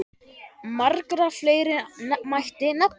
Marga fleiri mætti nefna.